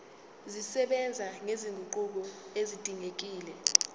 zisebenza nezinguquko ezidingekile